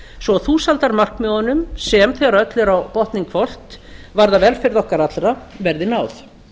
svo að þúsaldarmarkmiðunum sem þegar öllu er á botninn hvolft varða velferð okkar allra verði náð